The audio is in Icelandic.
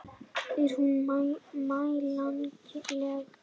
Er hún mælanleg?